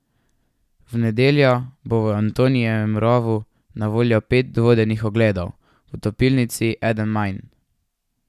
V nedeljo bo v Antonijevem rovu na voljo pet vodenih ogledov, v topilnici eden manj.